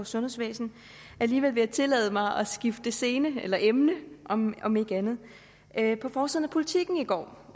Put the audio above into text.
sundhedsvæsen alligevel vil jeg tillade mig at skifte scene eller emne om om ikke andet andet på forsiden af politiken i går